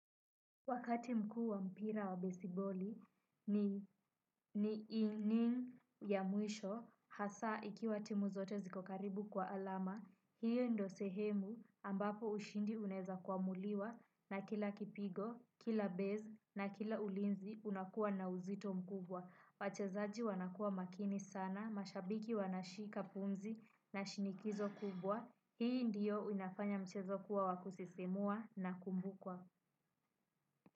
Wakati mkuu wa mpira wa besiboli ni ya mwisho, hasa ikiwa timu zote ziko karibu kwa alama. Hio ndio sehemu ambapo ushindi unaweza kuamuliwa, na kila kipigo, kila base, kila ulinzi inakua na uzito mkubwa. Wachezaji wanakuwa makini sana, mashabiki wanashika pumzi na shinikizo kubwa. Hii ndiyo inafanya mchezo kuwa wa kusisimua na kuvukwa.